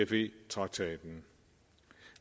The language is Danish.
cfe traktaten